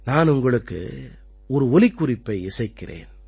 நான் உங்களுக்கு ஒரு ஒலிக்குறிப்பை இசைக்கிறேன்